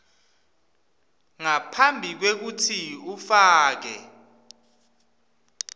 ngaphambi kwekutsi ufake